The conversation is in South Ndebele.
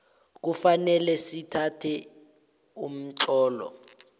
kufanele sithathe umtlolo